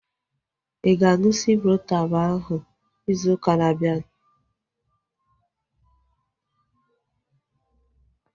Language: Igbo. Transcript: Ịga aṅụ Ciprotab ahu ịzụ ụka na-abianu?